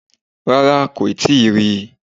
Rárá, kò tíì rí i